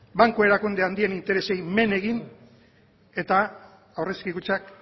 banku erakunde handien interesei men egin eta aurrezki kutxak